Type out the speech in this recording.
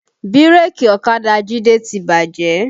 Bírèkì ọ̀kadà Jide ti bàjẹ́